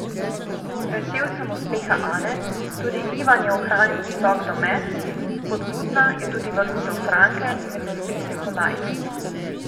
Vesel sem uspeha Ane, tudi Ivan je ohranil visok domet, spodbudna je tudi vrnitev Franke med nosilce kolajn.